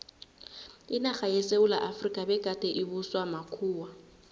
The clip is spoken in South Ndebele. inarha yesewula efrika begade ibuswa makhuwa